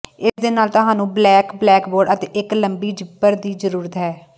ਇਸ ਦੇ ਨਾਲ ਤੁਹਾਨੂੰ ਬਲੈਕ ਬਲੈਕਬੋਰਡ ਅਤੇ ਇੱਕ ਲੰਬੇ ਜ਼ਿੱਪਰ ਦੀ ਜ਼ਰੂਰਤ ਹੈ